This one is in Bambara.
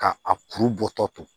Ka a kuru bɔ tɔ to